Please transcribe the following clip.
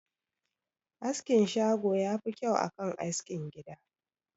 Askin shago yafi kyau akan askin gida